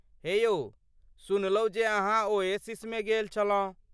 हे यौ, सुनलहुँ जे अहाँ ओएसिसमे गेल छलहुँ।